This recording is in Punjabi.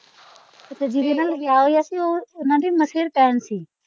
ਅੱਛਾ ਜੀਹਦੇ ਤੇ ਨਾਲ ਵਿਆਹ ਹੋਇਆ ਸੀ ਉਹ ਓਹਨਾ ਦੀ ਮਸੇਰ ਭੈਣ ਸੀ।